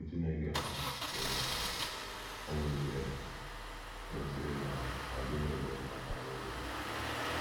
Iwu Chineke um nyere um ụmụ Izrel gosiri na ọ dịghị ele mmadụ anya n’ihu.